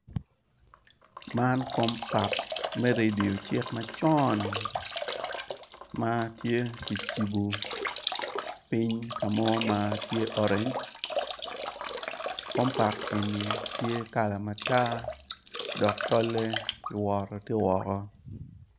Man, kombak me redio cik macon ma tye kicibo piny ka mo ma oreny kombak eni tye kala matar dok tolle ki woto ti woko.